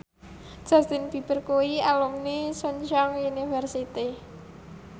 Justin Beiber kuwi alumni Chungceong University